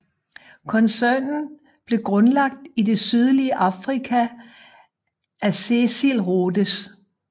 Koncernen blev grundlagt i det sydlige Afrika af Cecil Rhodes